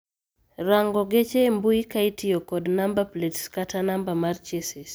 Rango geche e mbuyi ka itiyo kod namba plets kata namba mar chesis